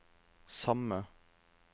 samme